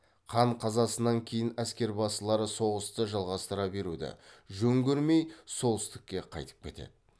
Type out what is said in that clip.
хан қазасынан кейін әскербасылары соғысты жалғастыра беруді жөн көрмей солтүстікке қайтып кетеді